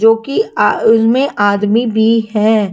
जोकि अ उनमें आदमी भी है।